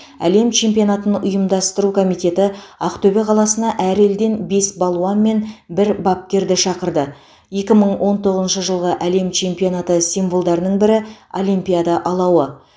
әлем чемпионатын ұйымдастыру комитеті ақтөбе қаласына әр елден бес балуан мен бір бапкерді шақырды екі мың он тоғызыншы жылғы әлем чемпионаты символдарының бірі олимпиада алауы